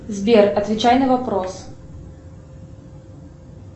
сбер отвечай на вопрос